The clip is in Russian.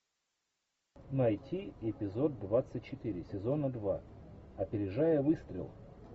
найти эпизод двадцать четыре сезона два опережая выстрел